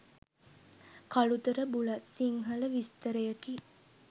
Kalutara Bulathsinhala විස්තරයකි.